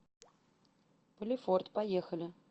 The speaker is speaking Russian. полифорт поехали